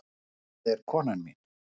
Þetta er konan mín.